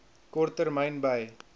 kort termyn by